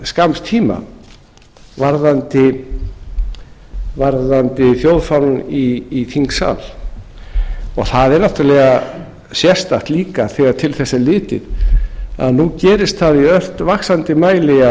skamms tíma varðandi þjóðfánann í þingsal og það er náttúrlega sérstakt líka þegar til þess er litið að nú gerist það í ört vaxandi mæli